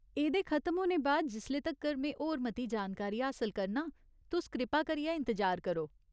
एह्दे खत्म होने बाद जिसले तक्कर में होर मती जानकारी हासल करनां, तुस कृपा करियै इंतजार करो ।